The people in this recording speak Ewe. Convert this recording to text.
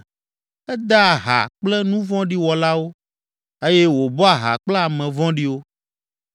Edea ha kple nu vɔ̃ɖi wɔlawo eye wòbɔa ha kple ame vɔ̃ɖiwo.